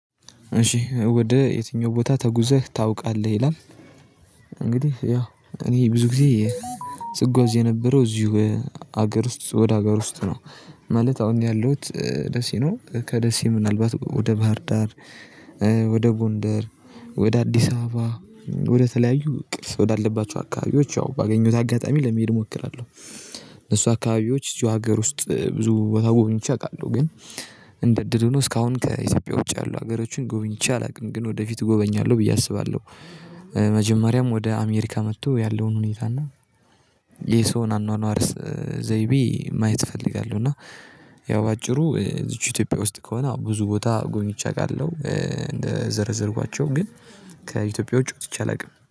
እሺ "ወደ የትኛው ቦታ ተጉዘህ ታውቃለህ?" ይላል፤ እንግዲህ ያው እኔ ብዙ ጊዜ ስጓዝ የነበረው እዚሁ ሀገር ውስጥ፤ ወደ ሀገር ውስጥ ነው። ማለት አሁን እኔ ያለሁት ደሴ ነው። ከደሴ ምናልባት ወደ ባህር ዳር ወደ ጎንደር፣ ወደ አዲስ አበባ፣ ወደ ተለያዩ ቅርስ ወዳለባቸው አካባቢዎች ያው ባገኘሁት አጋጣሚ ለመሄድ እሞክራለሁ። እነሱ አካባቢዎች እዚሁ ሀገር ውስጥ ብዙ ቦታ ጎብኝቼ አውቃለሁ። ግን እንደ እድል ሆኖ እስካሁን ከኢትዮጵያ ውጪ ያሉ ሀገሮችን ጎብኝቼ አላውቅም። ግን ወደፊት እጎበኛለሁ ብዬ አስባለሁ። መጀመሪያም ወደ አሜሪካ መጥቶ ያለውን ሁኔታ፤ እና የሰውን አኗኗር ዘይቤ ማየት እፈልጋለሁ። እና ያው በአጭሩ እዚቹ ኢትዮጵያ ውስጥ ከሆነ አዎ ብዙ ቦታ ጎብኚቼ አውቃለሁ። እንደዘረዘርኳቸው ግን ከኢትዮጵያ ውጪ ወጥቼ አላውቅም።